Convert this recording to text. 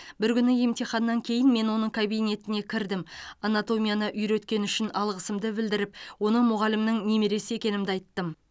бір күні емтиханнан кейін мен оның кабинетіне кірдім анатомияны үйреткені үшін алғысымды білдіріп оның мұғалімінің немересі екенімді айттым